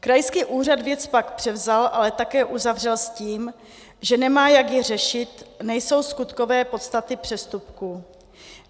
Krajský úřad věc pak převzal, ale také uzavřel s tím, že nemá, jak ji řešit, nejsou skutkové podstaty přestupku.